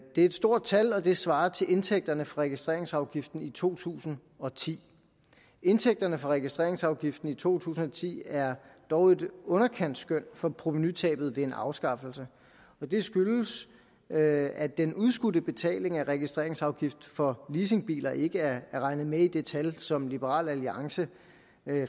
et stort tal og det svarer til indtægterne fra registreringsafgiften i to tusind og ti indtægterne fra registreringsafgiften i to tusind og ti er dog et underkantsskøn for provenutabet ved en afskaffelse det skyldes at at den udskudte betaling af registreringsafgift for leasingbiler ikke er regnet med i det tal som liberal alliance